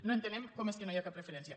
no entenem com és que no hi ha cap referència